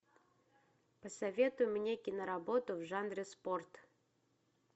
посоветуй мне киноработу в жанре спорт